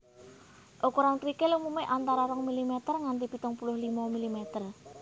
Ukuran krikil umumé antara rong milimeter nganti pitung puluh limo milimeter